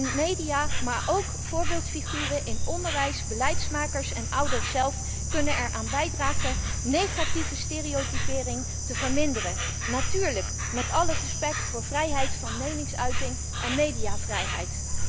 De media, maar ook voorbeeldfiguren in onderwijs, beleidsmakers en ouders zelf kunnen er aan bijdragen negatieve stereotypering te verminderen, natuurlijk met alle respect voor vrijheid van meningsuiting en mediavrijheid.